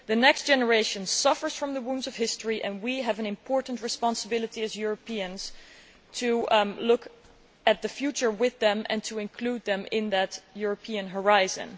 The next generation suffers from the wounds of history, and we have an important responsibility as Europeans to look to the future with them and to include them in the European horizon.